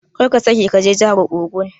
Karka sake kaje jahar ogun.